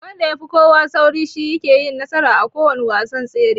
Wanda yafi kowa sauri shine yake nasara a kowanne wasan tsere.